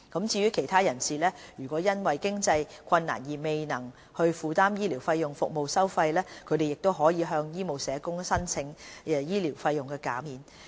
至於其他人士，如果因經濟困難而未能負擔醫療服務費用，亦可向醫務社工申請醫療費用減免。